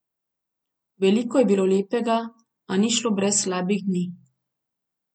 Veliko je bilo lepega, a ni šlo brez slabih dni.